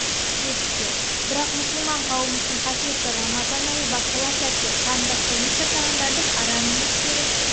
білесіздер бірақ мұсылман қауымы үшін қасиетті рамазан айы басталар сәтте қанды қылмыс жасағандардың арам ниеттері